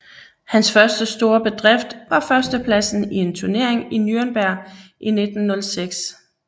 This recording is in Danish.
Hans første store bedrift var førstepladsen i en turnering i Nürnberg i 1906